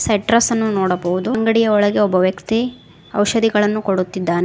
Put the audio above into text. ಅನ್ನು ನೋಡಬಹುದು ಅಂಗಡಿಯ ಒಳಗೆ ಒಬ್ಬ ವ್ಯಕ್ತಿ ಔಷಧಿಗಳನ್ನು ಕೊಡುತ್ತಿದ್ದಾನೆ.